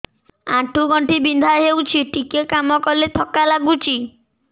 ଆଣ୍ଠୁ ଗଣ୍ଠି ବିନ୍ଧା ହେଉଛି ଟିକେ କାମ କଲେ ଥକ୍କା ଲାଗୁଚି